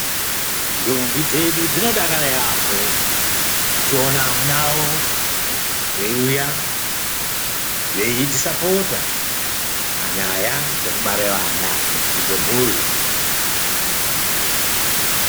Ndombi dzedu dzinodakara yaamho, dzichiona amuna awo veiuya, veidzisapota ,panyaya dzekubare vana nekukudze mhuri.